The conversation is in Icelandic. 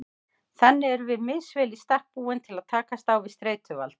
Þannig erum við misvel í stakk búin til að takast á við streituvaldinn.